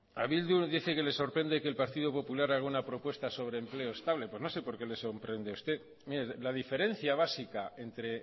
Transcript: eh bildu dice que le sorprende que el partido popular haga una propuesta sobre empleo estable no sé por qué les sorprende a usted mire la diferencia básica entre